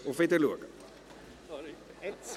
Auf Wiedersehen!